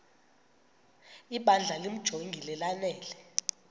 ibandla limjonge lanele